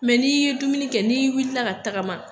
Mɛ n'i ye dumuni kɛ n'i wili ka tagama